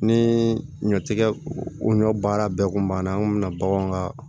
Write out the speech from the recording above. Ni ɲɔtigɛ o ɲɔ baara bɛɛ kun banna an kun mi na baganw ka